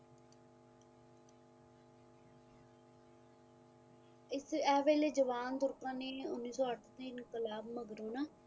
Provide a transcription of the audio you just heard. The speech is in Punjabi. ਇਤੇ ਜਵਾਨ ਤੁਰਕਾ ਨੇ ਉੰਨੀ ਸੋ ਅੱਸੀ ਕਲਾਬ ਮਗਰੋਂ ਨਾ